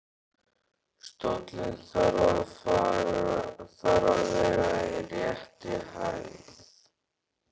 Stóllinn þarf að vera í réttri hæð.